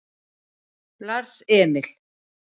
Lars Emil